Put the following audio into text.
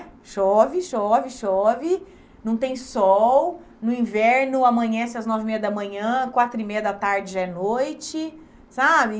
Chove, chove, chove, não tem sol, no inverno amanhece às nove e meia da manhã, quatro e meia da tarde já é noite, sabe?